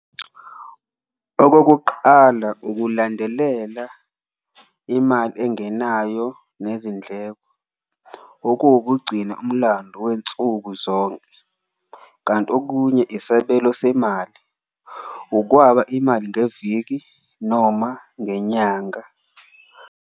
Okokuqala ukulandelela imali engenayo nezindleko okuwukugcina umlando wensuku zonke, kanti okunye isebelo semali, ukwaba imali ngeviki noma ngenyanga.